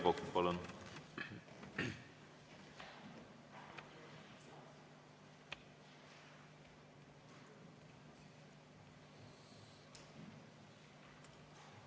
Aivar Kokk, palun!